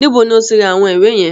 Níbo ni o ti ra àwọn ìwé yẹn?